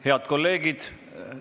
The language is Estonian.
Head kolleegid!